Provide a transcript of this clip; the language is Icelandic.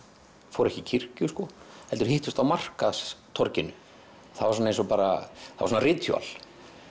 fóru ekki í kirkju sko heldur hittust á markaðstorginu það var svona eins og bara ritúal